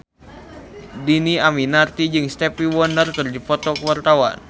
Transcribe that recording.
Dhini Aminarti jeung Stevie Wonder keur dipoto ku wartawan